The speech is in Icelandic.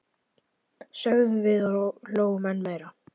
sögðum við og hlógum enn meira.